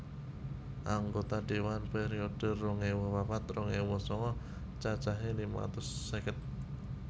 Anggota dewan periode rong ewu papat rong ewu sanga cacahé limang atus seket